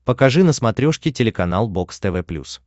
покажи на смотрешке телеканал бокс тв плюс